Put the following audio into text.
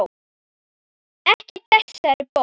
Ekki þessi bók.